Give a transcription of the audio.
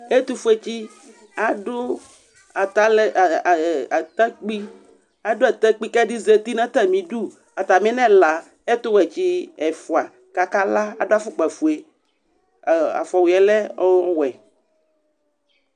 Ɛtʋfuetsɩ adʋ atalɛ ɛ e atakpui, adʋ atakpui kʋ ɛdɩ zati nʋ atamɩdu Atamɩ nʋ ɛla, ɛtʋwɛtsɩ ɛfʋa kʋ akala Adʋ afʋkpafue, ɔ afɔwʋɩ yɛ lɛ ɔwɛ